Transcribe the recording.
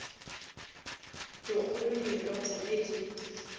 dikgolo di irata ge di